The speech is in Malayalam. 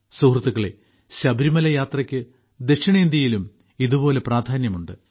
സുഹൃത്തുക്കളേ ശബരിമല യാത്രയ്ക്ക് ദക്ഷിണേന്ത്യയിലും ഇതുപോലെ പ്രാധാന്യമുണ്ട്